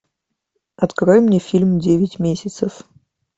открой мне фильм девять месяцев